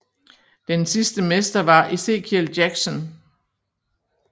Den sidste mester var Ezekiel Jackson